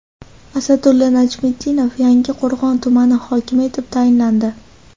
Asadulla Najmiddinov Yangiqo‘rg‘on tumani hokimi etib tayinlandi.